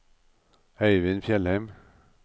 Øyvind Fjellheim